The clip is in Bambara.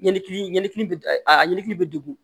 Ɲɛnɛbini a ɲɛkili bɛ degun